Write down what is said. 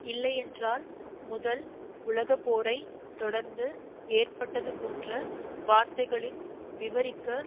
இல்லையென்றால் முதல் உலகப்போரைத் தொடர்ந்து ஏற்பட்டதுபோன்ற வார்த்தைகளின் விவரிக்க